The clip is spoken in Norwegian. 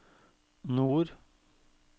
nord